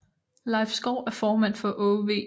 Leif Skov er formand for Aage V